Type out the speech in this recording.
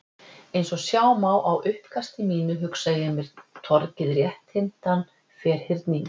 Eins og sjá má á uppkasti mínu, hugsa ég mér torgið rétthyrndan ferhyrning.